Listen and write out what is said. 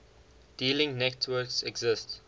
dealing networks exist